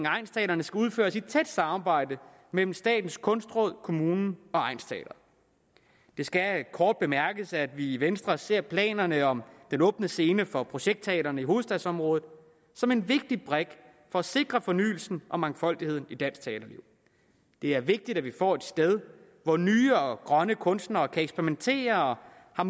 egnsteatrene skal udføres i tæt samarbejde mellem statens kunstråd kommunen og egnsteateret det skal kort bemærkes at vi i venstre ser planerne om den åbne scene for projektteatrene i hovedstadsområdet som en vigtig brik for at sikre fornyelsen og mangfoldigheden i dansk teaterliv det er vigtigt at vi får et sted hvor nye og grønne kunstnere kan eksperimentere og